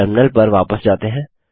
terminal पर वापस जाते हैं